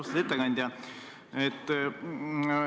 Austatud ettekandja!